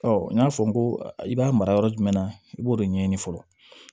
n y'a fɔ n ko i b'a mara yɔrɔ jumɛn na i b'o de ɲɛɲini fɔlɔ